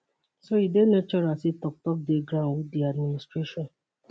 so e dey natural say toktok dey ground wit di administration